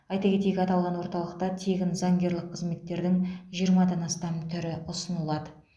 айта кетейік аталған орталықта тегін заңгерлік қызметтердің жиырмадан астам түрі ұсынылады